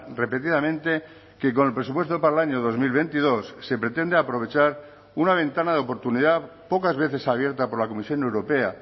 repetidamente que con el presupuesto para el año dos mil veintidós se pretende aprovechar una ventana de oportunidad pocas veces abierta por la comisión europea